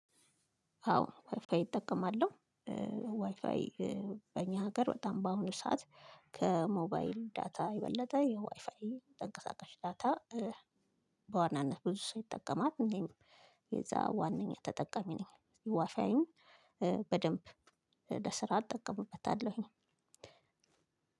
አወ ዋይፋይ እጠቀማለሁ። ዋይፋይ በኛ ሀገር በጣም ባሁኑ ሰዓት ከሞባይል ዳታ የበለጠ የዋይፋይ ተንቀሳቃሽ ዳታ። በዋናነት ብዙ ሰው ይጠቀማል። እኔም የዛ ዋናኛ ተጠቀሚ ነኝ። ዋፋዬን በደንብ ለስራ እጠቀምበታለሁኝ።